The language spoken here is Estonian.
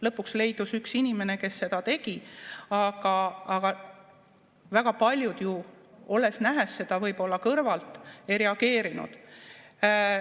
Lõpuks leidus üks inimene, kes seda tegi, aga väga paljud ju, kes seda võib-olla kõrvalt nägid, ei reageerinud.